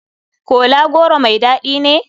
Kola goro mai dadi ne?